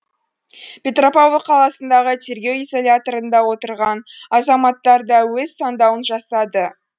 петропавл қаласындағы тергеу изоляторында отырған азаматтар да өз таңдауын жасады